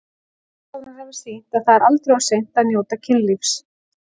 Rannsóknir hafa sýnt að það er aldrei of seint að njóta kynlífs.